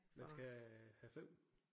Men skal have have 5